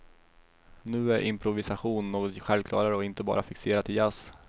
Nu är improvisation något självklarare och inte bara fixerat till jazz.